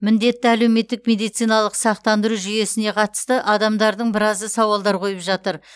міндетті әлеуметтік медициналық сақтандыру жүйесіне қатысты адамдардың біразы сауалдар қойып жатыр